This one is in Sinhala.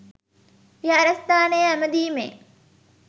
විහාරස්ථානයේ ඇමදීමේ